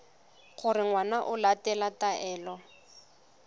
gore ngwana o latela taelo